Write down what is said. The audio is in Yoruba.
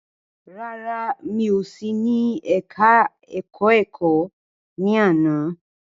Rárá, mi ò sí ní ẹka ẹ̀kọ́ ẹ̀kọ́ ní àná.